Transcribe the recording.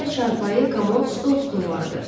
İçəridə çarpayı, komod, stol-stul vardı.